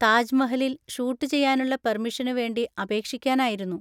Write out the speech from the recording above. താജ് മഹലിൽ ഷൂട്ട് ചെയ്യാനുള്ള പെർമിഷനു വേണ്ടി അപേക്ഷിക്കാനായിരുന്നു.